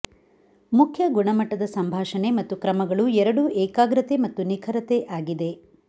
ಮುಖ್ಯ ಗುಣಮಟ್ಟದ ಸಂಭಾಷಣೆ ಮತ್ತು ಕ್ರಮಗಳು ಎರಡೂ ಏಕಾಗ್ರತೆ ಮತ್ತು ನಿಖರತೆ ಆಗಿದೆ